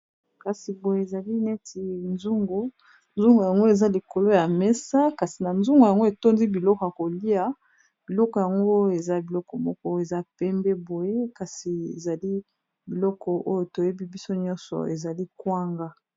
kasi boye ezali neti nzungo yango eza likolo ya mesa kasi na nzungo yango etondi biloko ya kolia biloko yango eza biloko moko eza pembe boye kasi ezali biloko oyo toyebi biso nyonso ezali kwanga